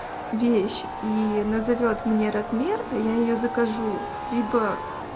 вещь и назовёт мне размер а я её закажу либо